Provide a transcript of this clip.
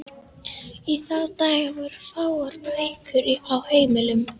Í þá daga voru fáar bækur á heimilum.